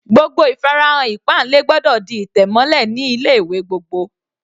Gbogbo ìfarahàn ìpáǹle gbọ́dọ̀ di ìtẹ̀ mọ́lẹ̀ ní ilé ìwé gbogbo.